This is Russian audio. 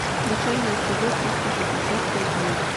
включай на тв триста шестьдесят пять дней